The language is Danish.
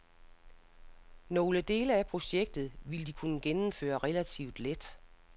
Nogle dele af projektet vil de kunne gennemføre relativt let.